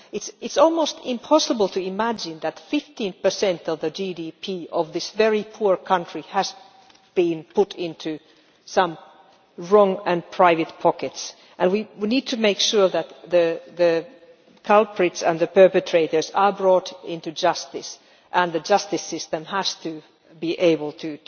It is almost impossible to imagine that 15 of the GDP of this very poor country has been put into some wrong and private pockets, and we need to make sure that the culprits and the perpetrators are brought to justice. The justice system has to be able